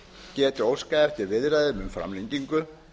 geti óskað eftir viðræðum um framlengingu